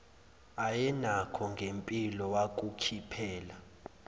ayenakho ngempilo wakukhiphela